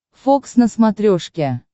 фокс на смотрешке